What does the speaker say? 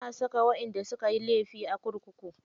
Ana saka waƴanda sukayi laifi a kurkuku.